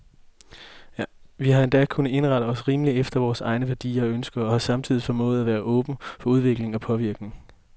Vi har endda kunnet indrette os rimeligt efter vore egne værdier og ønsker, og har samtidig formået at være åbne for udvikling og påvirkning.